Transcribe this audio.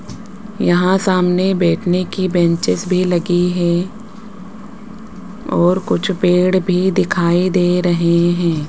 यहाँ सामने बैठने की बेचेंस भी लगी हैं और कुछ पेड भी दिखाई दे रहे हैं।